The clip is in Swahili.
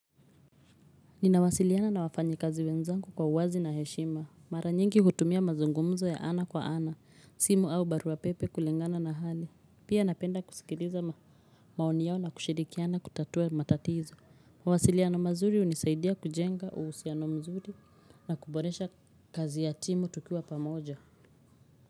Ninawasiliana na wafanyikazi wenzangu kwa uwazi na heshima. Mara nyingi hutumia mazungumzo ya ana kwa ana, simu au barua pepe kulingana na hali. Pia napenda kusikiliza maoni yao na kushirikiana kutatua matatizo. Mawasiliano mazuri hunisaidia kujenga uhusiano mzuri na kuboresha kazi ya timu tukiwa pamoja.